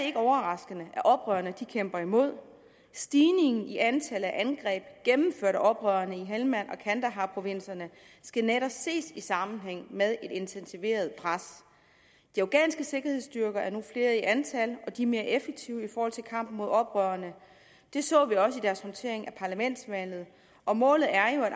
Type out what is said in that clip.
ikke overraskende at oprørerne kæmper imod stigningen i antallet af angreb gennemført af oprørerne i helmand og kandaharprovinserne skal netop ses i sammenhæng med et intensiveret pres de afghanske sikkerhedsstyrker er nu flere i antal og de er mere effektive i kampen mod oprørerne det så vi også i deres håndtering af parlamentsvalget og målet er jo at